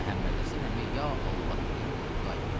Məhəmməd Həsən əmi ya Allah deyib durdu ayağa.